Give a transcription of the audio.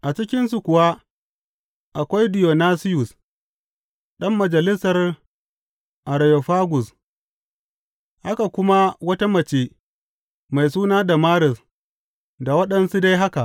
A cikinsu kuwa akwai Diyonasiyus ɗan Majalisar Areyofagus, haka kuma wata mace mai suna Damaris, da waɗansu dai haka.